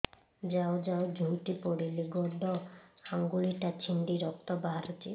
ଯାଉ ଯାଉ ଝୁଣ୍ଟି ପଡ଼ିଲି ଗୋଡ଼ ଆଂଗୁଳିଟା ଛିଣ୍ଡି ରକ୍ତ ବାହାରୁଚି